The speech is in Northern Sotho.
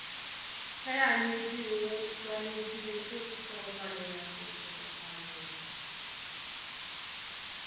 ge anyetšweo swanetšegotšofalelale go hlokofalela